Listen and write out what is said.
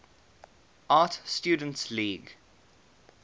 art students league